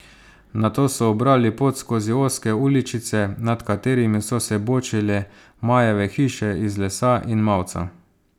Nato so ubrali pot skozi ozke uličice, nad katerimi so se bočile majave hiše iz lesa in mavca.